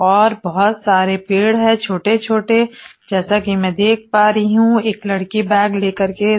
और बहोत सारे पेड़ है छोटे छोटे जैसा कि मै देख पा रही हूं एक लड़की बैग लेकर के--